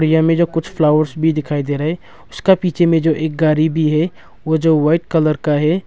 यहां हमे जो कुछ फ्लावर्स भी दिखाई दे रहा है उसका पीछे में जो एक गाड़ी भी है वह जो वाइट कलर का है।